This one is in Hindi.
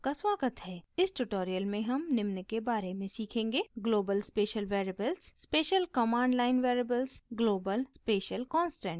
इस tutorial में हम निम्न के बारे में सीखेंगे :